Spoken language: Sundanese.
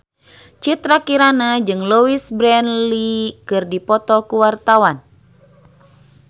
Citra Kirana jeung Louise Brealey keur dipoto ku wartawan